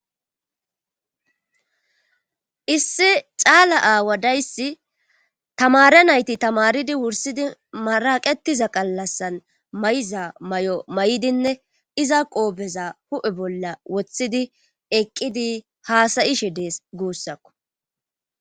issi caala aawa dayssi tamare nayti tamaridi wursidi maraqetiza qallassan may7iza may7o may7dinne iza qoobeza hu7e bolla woththidi eqqidi haasayishe dees guussakku